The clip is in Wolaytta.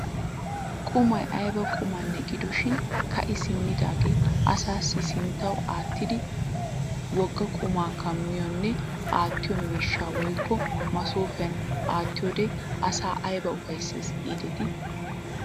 Qumay ayba qumanne gidoshin ka'i simmidagaa asaassi sinttawu aattiidi wogaa qumaa kamiyoonne aattiyoo miishan woykko masoofiyaan aattiyoode asaa ayba ufayssees gidetii!